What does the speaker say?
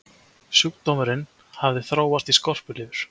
Sjúkdómurinn hafði þróast í skorpulifur.